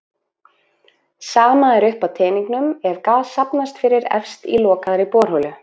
Sama er uppi á teningnum ef gas safnast fyrir efst í lokaðri borholu.